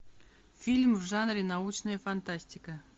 фильм в жанре научная фантастика